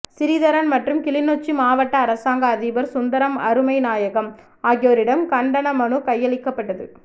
சிறிதரன் மற்றும் கிளிநொச்சி மாவட்ட அரசாங்க அதிபர் சுந்தரம் அருமைநாயகம் ஆகியோரிடம் கண்டனமனு கையளிக்கப்பட்டது